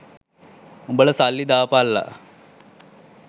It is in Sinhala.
උඹලා සල්ලි දාපල්ලා